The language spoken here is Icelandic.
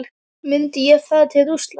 Myndi ég fara til Rússlands?